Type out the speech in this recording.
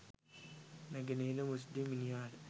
නැගනහිර මුස්ලිම් මිනිහාට